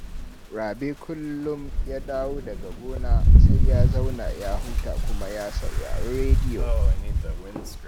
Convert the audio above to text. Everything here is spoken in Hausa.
Rabe kullum ya dawo daga gona, sai ya zauna ya huta kuma ya saurari rediyo